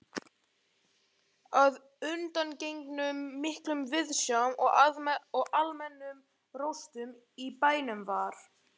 Að undangengnum miklum viðsjám og almennum róstum í bænum var